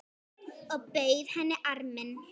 Og bauð henni arminn.